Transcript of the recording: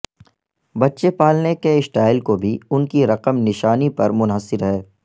بچے پالنے کے سٹائل کو بھی ان کی رقم نشانی پر منحصر ہے